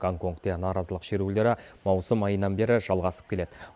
гонконгте наразылық шерулері маусым айынан бері жалғасып келеді